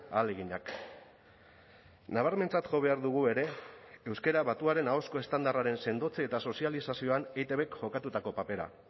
ahaleginak nabarmentzat jo behar dugu ere euskara batuaren ahozko estandarraren sendotze eta sozializazioan eitbk jokatutako papera